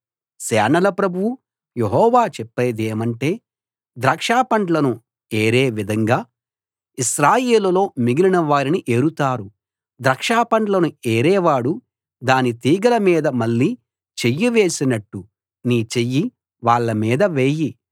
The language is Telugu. సేనల ప్రభువు యెహోవా చెప్పేదేమంటే ద్రాక్ష పండ్లను ఏరే విధంగా ఇశ్రాయేలులో మిగిలిన వారిని ఏరుతారు ద్రాక్షపండ్లను ఏరేవాడు దాని తీగెల మీద మళ్ళీ చెయ్యి వేసినట్టు నీ చెయ్యి వాళ్ళ మీద వేయి